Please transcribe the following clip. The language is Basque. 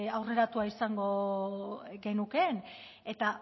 aurreratua izango genukeen eta